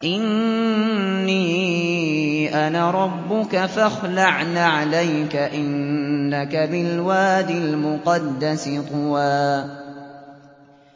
إِنِّي أَنَا رَبُّكَ فَاخْلَعْ نَعْلَيْكَ ۖ إِنَّكَ بِالْوَادِ الْمُقَدَّسِ طُوًى